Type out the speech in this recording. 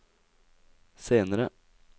senere